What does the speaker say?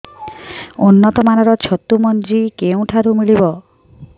ଉନ୍ନତ ମାନର ଛତୁ ମଞ୍ଜି କେଉଁ ଠାରୁ ମିଳିବ